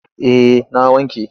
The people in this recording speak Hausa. Eh na wanke.